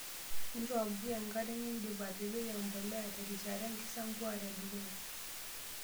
Nchoo mpuka enkare tenindip atipiki embolea terishata enkisampuare e dukuya.